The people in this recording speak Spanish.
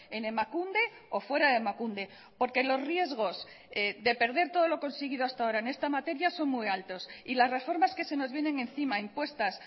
en emakunde o fuera de emakunde porque los riesgos de perder todo lo conseguido hasta ahora en esta materia son muy altos y las reformas que se nos vienen encima impuestas